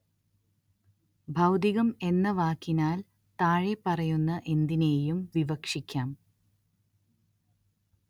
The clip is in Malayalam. ഭൗതികം എന്ന വാക്കിനാല്‍ താഴെപ്പറയുന്ന എന്തിനേയും വിവക്ഷിക്കാം